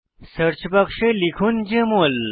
search বাক্সে লিখুন JML